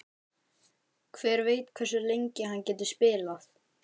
Hver veit hversu lengi hann getur spilað?